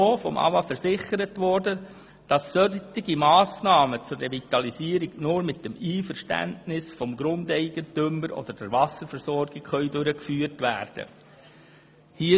Vom AWA wurde uns versichert, dass solche Massnahmen nur mit dem Einverständnis des Grundeigentümers oder der Wasserversorgung durchgeführt werden können.